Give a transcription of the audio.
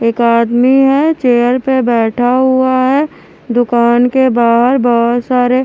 एक आदमी है चेयर पे बैठा हुआ है दुकान के बाहर बहुत सारे--